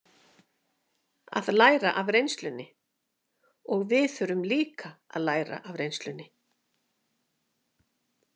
Að læra af reynslunni Og við þurfum líka að læra af reynslunni.